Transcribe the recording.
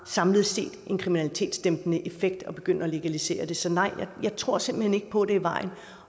samlet set har en kriminalitetsdæmpende effekt at begynde at legalisere det så nej jeg tror simpelt hen ikke på at det er vejen